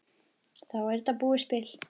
Þá er þetta búið spil.